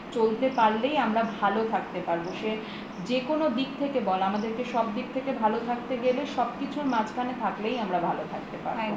চলতে পারলেই আমরা ভালো থাকতে পারব সে যেকোনো দিক থেকে বল আমাদের কে সব দিক থেকে ভালো থাকতে গেলে সব কিছুর মাঝখানে থাকলেই আমরা ভালো থাকতে পারব